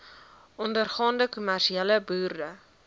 ondergaande kommersiële boere